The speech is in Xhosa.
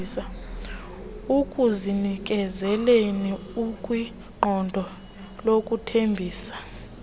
ekuzinikezeleni nakwiqondo lokuthembisa